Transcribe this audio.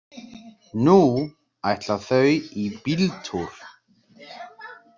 Nú ætla þau í bíltúr.